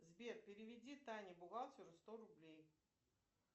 сбер переведи тане бухгалтеру сто рублей